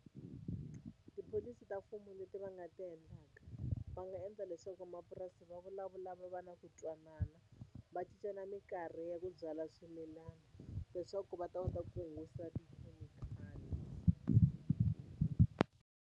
Tipholisi ta mfumo leti va nga ti endlaka va nga endla leswaku vamapurasi va vulavula va va na ku twanana va cincana mikarhi ya ku byala swimilana leswaku va ta kota ku hungusa tikhemikhali.